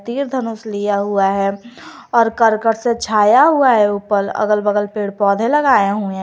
तीर धनुष लिया हुआ है और करकट से छाया हुआ है ऊपर अगल बगल पेड़ पौधे लगाए हुए हैं।